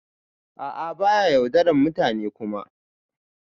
A'a ba ya yaudaran mutane Kuma.